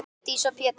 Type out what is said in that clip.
Herdís og Pétur.